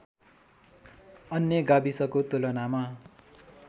अन्य गाविसको तुलनामा